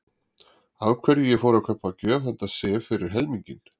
Af hverju ég fór að kaupa gjöf handa Sif fyrir helminginn.